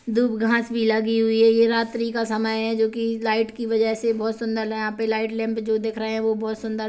दुब घास भी लगी हुई है ये रात्रि का समय है जो की लाइट की वजह से बोहोत सुन्दर यहाँ पे लाइट लैंप जो दिख रहे हैं वो बोहोत सुन्दर --